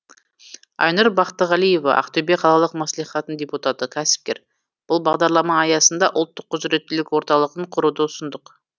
айнұр бақтығалиева ақтөбе қалалық мәслихатының депутаты кәсіпкер бұл бағдарлама аясында ұлттық құзыреттілік орталығын құруды ұсындық